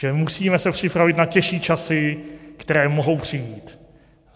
Že se musíme připravit na těžší časy, které mohou přijít.